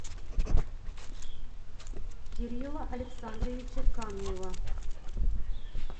кирилла александровича камнева